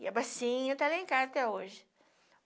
E a bacinha tá lá em casa até hoje.